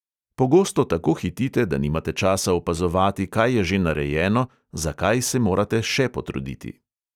Pogosto tako hitite, da nimate časa opazovati, kaj je že narejeno, za kaj se morate še potruditi.